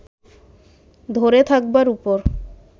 ধরে থাকবার উপর